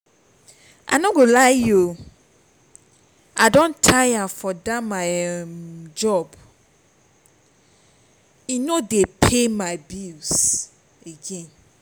i no go lie you i don tire for dat my job e no dey settle my bills again